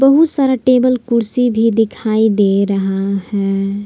बहुत सारा टेबल कुर्सी भी दिखाई दे रहा है।